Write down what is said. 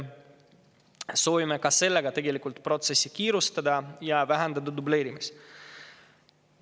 Soovime ka sellega tegelikult protsessi kiirendada ja vähendada dubleerimist.